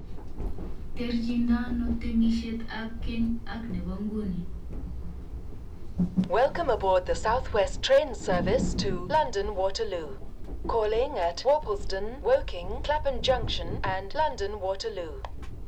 Terchindoi ano temisiet ab Keny ak Nebo Nguni?